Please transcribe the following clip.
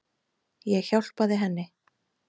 Ég hjálpaði henni.